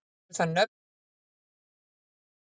Eru það nöfn sem enda á-berg.